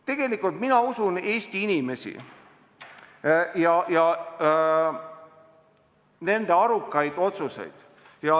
Tegelikult mina usun Eesti inimesi ja nende arukaid otsuseid.